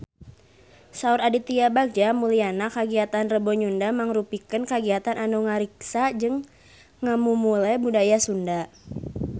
Saur Aditya Bagja Mulyana kagiatan Rebo Nyunda mangrupikeun kagiatan anu ngariksa jeung ngamumule budaya Sunda